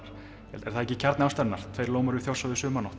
er það ekki kjarni ástarinnar tveir lómar við Þjórsá um sumarnótt